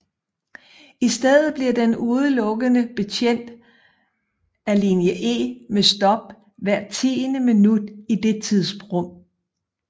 I stedet bliver den udelukkende betjent af linje E med stop hvert tiende minut i det tidsrum